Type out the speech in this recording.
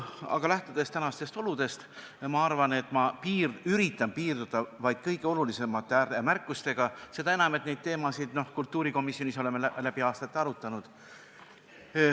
Aga lähtudes tänastest oludest, ma üritan piirduda vaid kõige olulisemate ääremärkustega, seda enam, et neid teemasid me oleme kultuurikomisjonis läbi aastate arutanud.